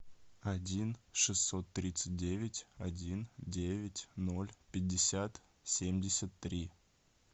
один шестьсот тридцать девять один девять ноль пятьдесят семьдесят три